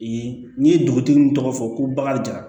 Yen n'i ye dugutigi min tɔgɔ fɔ ko bagan jara